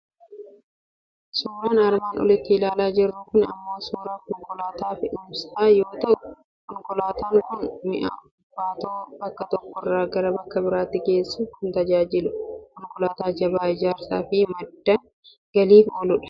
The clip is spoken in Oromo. Suuraan armaan olitti ilaalaa jirru kun immoo suuraa konkolaataa fe'umsaa yoo ta'u, konkolaataan kun mi'a ulfaatoo bakka tokko irraa gara bakka biraatti geessuuf kan tajaajilu, konkolaataa jabaa ijaarsaa fi madda galiif ooludha.